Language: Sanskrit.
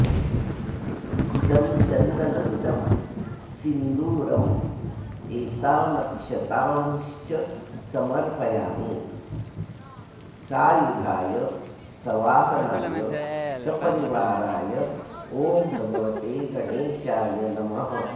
इदं चन्दनमिदं सिन्दूरमेतानक्षतांश्च समर्पयामि सायुधाय सवाहनाय सपरिवाराय ॐ भगवते गणेशाय नमः